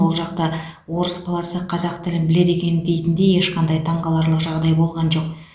ол жақта орыс баласы қазақ тілін біледі екен дейтіндей ешқандай таңғаларлық жағдай болған жоқ